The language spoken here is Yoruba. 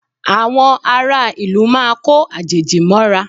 Àwọn ará ìlú máa ko àjèjì mọ́ra